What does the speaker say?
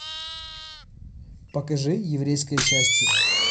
покажи еврейское счастье